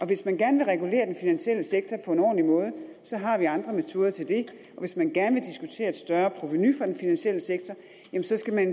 hvis man gerne vil regulere den finansielle sektor på en ordentlig måde har vi andre metoder til det og hvis man gerne vil diskutere et større provenu fra den finansielle sektor